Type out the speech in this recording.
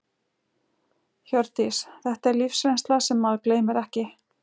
Hjördís: Þetta er lífsreynsla sem maður gleymir ekki?